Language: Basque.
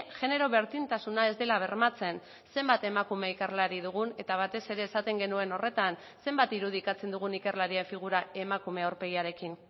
genero berdintasuna ez dela bermatzen zenbat emakume ikerlari dugun eta batez ere esaten genuen horretan zenbat irudikatzen dugun ikerlarien figura emakume aurpegiarekin